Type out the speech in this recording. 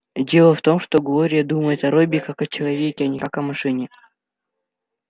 дело в том что глория думает о робби как о человеке а не как о машине